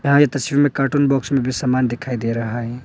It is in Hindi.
तस्वीर में कार्टून बॉक्स में भी समान दिखाई दे रहा है।